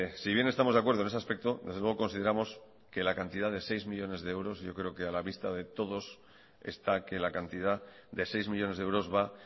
si bien estamos de acuerdo en ese aspecto desde luego consideramos que la cantidad de seis millónes de euros yo creo que a la vista de todos está que la cantidad de seis millónes de euros va